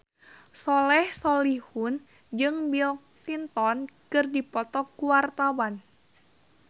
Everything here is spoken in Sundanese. Soleh Solihun jeung Bill Clinton keur dipoto ku wartawan